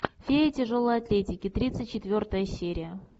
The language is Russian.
фея тяжелой атлетики тридцать четвертая серия